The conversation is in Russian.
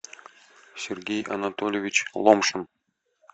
сергей анатольевич ломшин